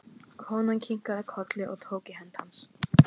Konan kinkaði kolli og tók í hönd hans.